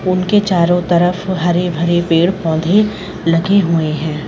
उनके चारों तरफ हरे भरे पेड़ पौधे लगे हुए हैं।